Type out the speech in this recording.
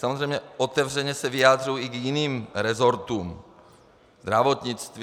Samozřejmě otevřeně se vyjadřuji i k jiným resortům - zdravotnictví...